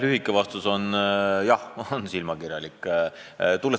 Lühike vastus on: "Jah, on silmakirjalik.